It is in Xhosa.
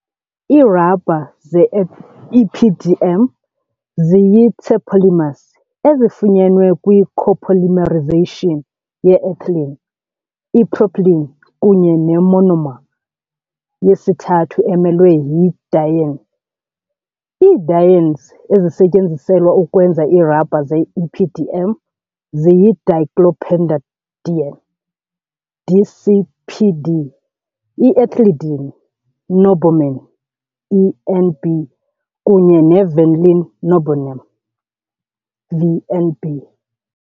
Iirabha ze-EPDM ziyi -terpolymers ezifunyenwe kwi- copolymerization ye -ethylene, ipropylene kunye ne-monomer yesithathu emelwe yi- diene . Ii-dienes ezisetyenziselwa ukwenza iirabha ze-EPDM ziyi- dicyclopentadiene DCPD, i-ethylidene norbornene ENB, kunye ne -vinyl norbornene VNB.